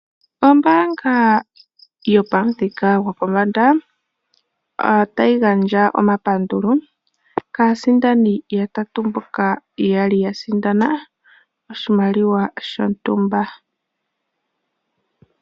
Ombaanga yopamuthika gopombanda otayi gandja omapandulo kaasindani yatatu mboka yali ya sindana oshimaliwa shontumba.